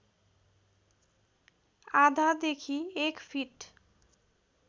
आधादेखि एक फिट